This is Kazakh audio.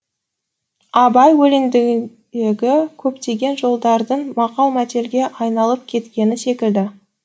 абай өлеңіндегі көптеген жолдардың мақал мәтелге айналып кеткені секілді